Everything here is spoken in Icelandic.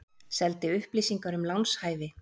Seldi upplýsingar um lánshæfi